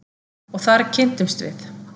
Og þar kynntumst við.